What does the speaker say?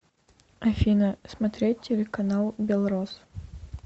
афина смотреть телеканал белрос